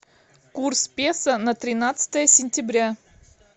курс песо на тринадцатое сентября